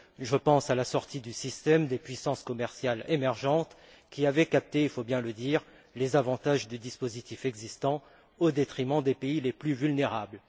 Je pense à la sortie du système des puissances commerciales émergentes, qui avaient capté, il faut bien le dire, les avantages du dispositif existant au détriment des pays les plus vulnérables.